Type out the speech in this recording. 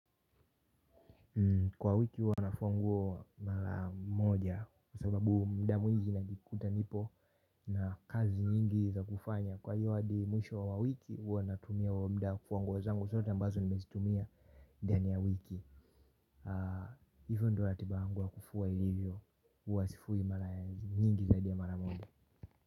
Kwa wiki huwa nafua nguo mara moja kwa sababu muda mwingi najikuta nipo na kazi nyingi za kufanya. Kwa hiyo hadi mwisho wa wiki huwa natumia huo muda kufua nguo zangu zote ambazo nimezitumia ndani ya wiki. Hivyo ndio ratiba yangu ya kufua ilivyo huwa sifui mara nyingi zaidi ya mara moja.